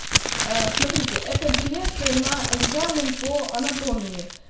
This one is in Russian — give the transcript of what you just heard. ээ смотрите это билеты на экзамен по анатомии